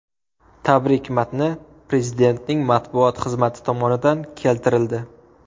Tabrik matni Prezidentning matbuot xizmati tomonidan keltirildi .